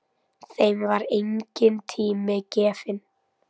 Þeim var enginn tími gefinn.